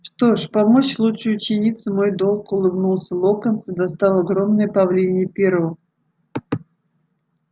что ж помочь лучшей ученице мой долг улыбнулся локонс и достал огромное павлинье перо